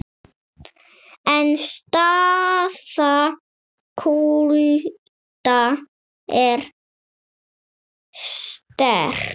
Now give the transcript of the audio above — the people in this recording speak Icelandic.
En staða Kúrda er sterk.